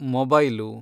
mobile